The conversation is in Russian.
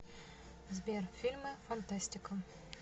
сбер фильмы фантастика